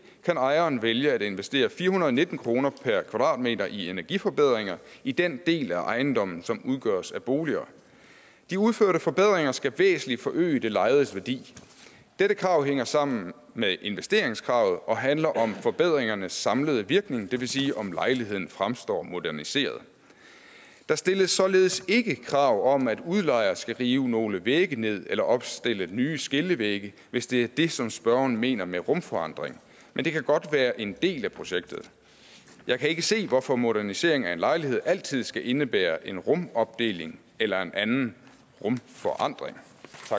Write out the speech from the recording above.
kan ejeren vælge at investere fire hundrede og nitten kroner per kvadratmeter i energiforbedringer i den del af ejendommen som udgøres af boliger de udførte forbedringer skal væsentligt forøge det lejedes værdi dette krav hænger sammen med investeringskravet og handler om forbedringernes samlede virkning det vil sige om lejligheden fremstår moderniseret der stilles således ikke krav om at udlejer skal rive nogle vægge ned eller opstille nye skillevægge hvis det er det som spørgeren mener med rumforandring men det kan godt være en del af projektet jeg kan ikke se hvorfor modernisering af en lejlighed altid skal indebære en rumopdeling eller en anden rumforandring